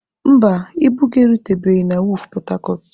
Mba, ibu gị erutebeghi na wọọfụ pọtacọt.